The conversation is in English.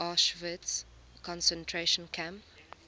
auschwitz concentration camp